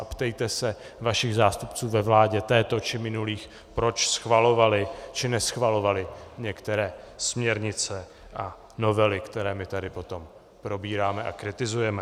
A ptejte se svých zástupců ve vládě této či minulých, proč schvalovali či neschvalovali některé směrnice a novely, které my tady potom probíráme a kritizujeme.